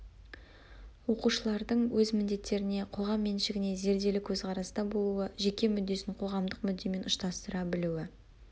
оқушылардың өз міндеттеріне қоғам меншігіне зерделі көзқараста болуы жеке мүддесін қоғамдық мүддемен ұштастыра білуі